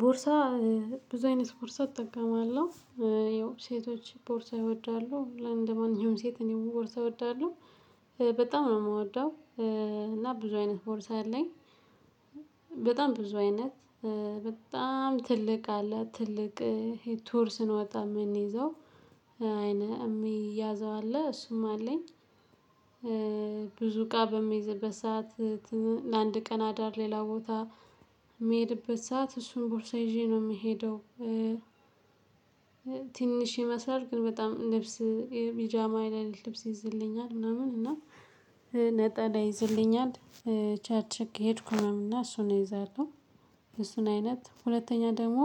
ቦርሳ ብዙ አይነት ቦርሳ እጠቀማለሁ። ያው ሴቶች ቦርሳ ይወዳሉ እንደማንኛውም ሴት እኔ ቦርሳ እወዳለሁ በጣም ነው የምወደው። እና ብዙ አይነት ቦርሳ አለኝ። በጣም ብዙ አይነት በጣም ትልቅ አለ ትልቅ ቱር ስንወጣ የምንይዘው የሚያዘው አለ እሱም አለኝ። እቃ በምይዝበት ሰዓት ለአንድ ቀን አዳር ሌላ ቦታ በምሄድበት ሰዓት እሱን ቦርሳ ይዤ ነው የምሄደው። ትንሽ ይመስላል ግን በጣም ልብስ ቢጃማ ላይ ልብስ ይይዝልኛል ምናምን እና ነጠላ ይዝልኛል ቸርች ከሄድኩ ምናምን እሱን እይዛለሁ። እሱን አይነት ሁለተኛ ደግሞ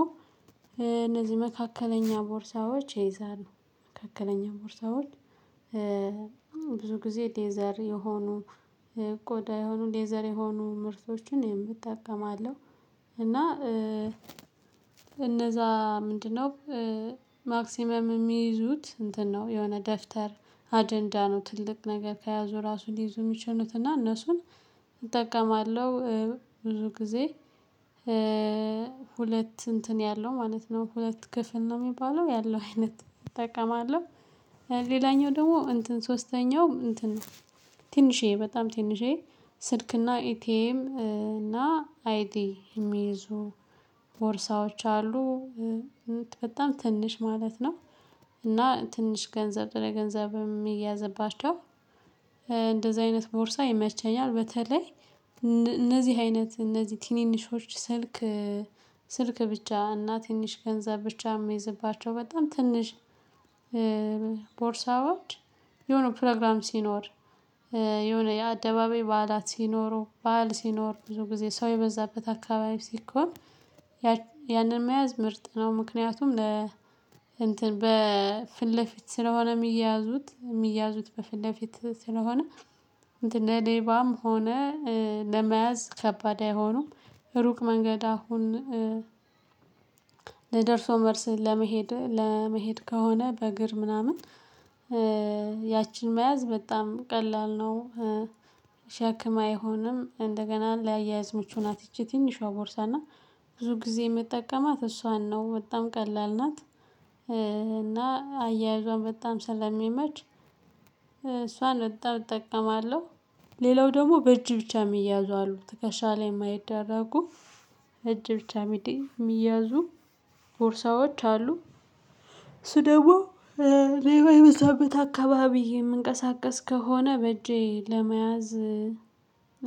እነዚህ መካከለኛ ቦርሳዎች እይዛለሁ መካከለኛ ቦርሳዎች። ብዙ ጊዜ ሌዘር የሆኑ ቆዳ የሆኑ ሌዘር የሆኑ ምርቶችን እጠቀማለሁ። እና እነዛ ምንድነው? ማክሲመም የሚይዙት እንትን ነው የሆነ ደፍተር አጀንዳ ነው ትልቅ ነገር ከያዙ ራሱ ሊይዙ የሚችሉት እና እነሱን እጠቀማለሁ። ብዙ ጊዜ ሁለት እንትን ያለው ማለት ነው ሁለት ክፍል ነው የሚባለው ያለው አይነት እጠቀማለሁ። ሌላኛው ደግሞ እንትን ሶስተኛው እንትን ትንሽዬ በጣም ትንሽዬ ስልክና ኢቲኤም እና አይዲ የሚይዙ ቦርሳዎች አሉ። በጣም ትንሽ ማለት ነው። እና ትንሽ ገንዘብ ለገንዘብ የሚያዝባቸው እንደዚህ አይነት ቦርሳ ይመቸኛል። በተለይ እነዚህ አይነት እነዚህ ትንንሾች ስልክ ስልክ ብቻ እና ትንሽ ገንዘብ ብቻ የሚይዝባቸው በጣም ትንሽ ቦርሳዎች። የሆነ ፕሮግራም ሲኖር የሆነ የአደባባይ በዓላት ሲኖሩ በዓል ሲኖር ብዙ ጊዜ ሰው የበዛበት አካባቢ ሲኮም። ያንን መያዝ ምርጥ ነው። ምክንያቱም ለ እንትን በፊት ለፊት ስለሆነ የሚያዙት የሚያዙት በፊት ለፊት ስለሆነ እንትን ለሌባም ሆነ ለመያዝ ከባድ አይሆኑም። ሩቅ መንገድ አሁን ለደርሶ መልስ ለመሄድ ለመሄድ ከሆነ በእግር ምናምን። ያችን መያዝ በጣም ቀላል ነው። ሸክም አይሆንም እንደገና ለአያያዝ ምቹ ናት ይቺ ትንሿ ቦርሳ እና ብዙ ጊዜ የምጠቀማት እሷን ነው በጣም ቀላል ናት። እና አያያዟን በጣም ስለሚመች እሷን በጣም እጠቀማለሁ። ሌላው ደግሞ በእጅ ብቻ የሚያዙ አሉ ትከሻ ላይ የማይደረጉ እጅ ብቻ የሚያዙ ቦርሳዎች አሉ። እሱ ደግሞ ሌባ የበዛበት አካባቢ የምንቀሳቀስ ከሆነ በእጄ ለመያዝ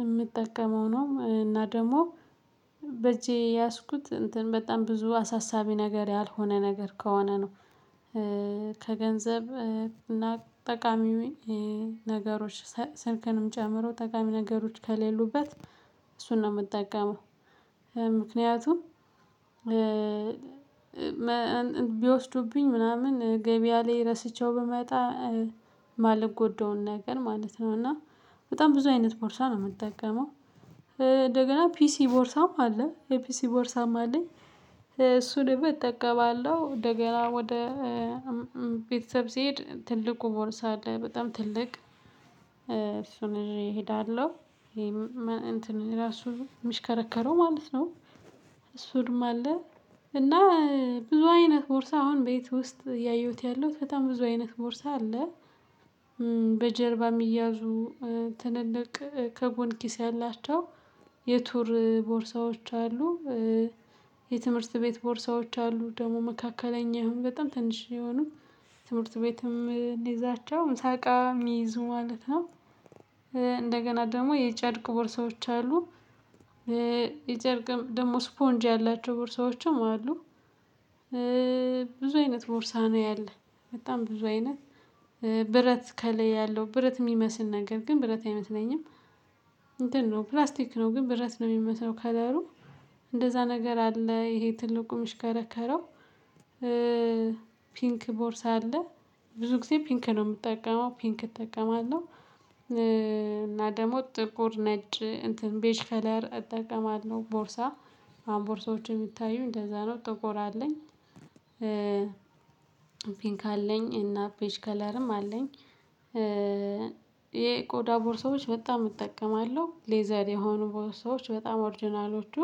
የምጠቀመው ነው እና ደግሞ በእጄ የያዝኩት እንትን በጣም ብዙ አሳሳቢ ነገር ያልሆነ ነገር ከሆነ ነው። ከገንዘብ እና ጠቃሚ ነገሮች ስልክንም ጨምሮ ጠቃሚ ነገሮች ከሌሉበት እሱን ነው የምጠቀመው። ምክንያቱም ቢወስዱብኝ ምናምን ገበያ ላይ ረስቸው ብመጣ የማልጎዳውን ነገር ማለት ነው። እና በጣም ብዙ አይነት ቦርሳ ነው የምጠቀመው። እንደገና ፒሲ ቦርሳም አለ የፒሲ ቦርሳም አለኝ። እሱንም እጠቀማለሁ እንደገና ወደ ቤተሰብ ስሄድ ትልቁ ቦርሳ አለ በጣም ትልቅ እሱን ይዠ እሄዳለሁ። እንትን ራሱ የሚሽከረከረው ማለት ነው። እሱም አለ። እና ብዙ አይነት ቦርሳ አሁን ቤት ውስጥ ያየሁት ያለውት በጣም ብዙ አይነት ቦርሳ አለ። በጀርባ የሚያዙ ትልልቅ ከጎን ኪስ ያላቸው የቱር ቦርሳዎች አሉ። የትምህርት ቤት ቦርሳዎች አሉ ደግሞ መካከለኛው በጣም ትንሽ የሆኑ ትምህርት ቤትም እምንይዛቸው ምሳቃ የሚይዙ ማለት ነው። እንደገና ደግሞ የጨሮቅ ቦርሳወች አሉ። የጨርቅ ደግሞ ስፖንጅ ያላቸው ቦርሳዎችም አሉ። ብዙ አይነት ቦርሳ ነው ያለው በጣም ብዙ አይነት ብረት ከላይ ያለው ብረት የሚመስል ነገር ግን ብረት አይመስለኝም። እንትን ነው ፕላስቲክ ነው ግን ብረት ነው የሚመስለው ከለሩ እንደዛ ነገር አለ ይሄ ትልቁ የምችከረከረው። ፒንክ ቦርሳ አለ ብዙ ጊዜ ፒንክ ነው የምጠቀመው ፒንክ እጠቀማለሁ። እና ደግሞ ጥቁር ነጭ ቤጅ ከለር እጠቀማለሁ ቦርሳ አሁን ቦርሳዎችን የምታዩኝ እንደዛ ነው ጥቁር አለኝ። ፒንክ አለኝ እና ቤች ከለርም አለኝ። የቆዳ ቦርሳወች በጣም እጠቀማለሁ ሌዘር የሆኑ ቦርሶች በጣም ኦርጅናሎቹ